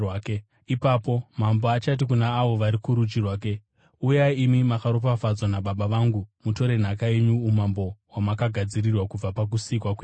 “Ipapo Mambo achati kuna avo vari kurudyi rwake, ‘Uyai imi makaropafadzwa naBaba vangu, mutore nhaka yenyu, umambo hwamakagadzirirwa kubva pakusikwa kwenyika.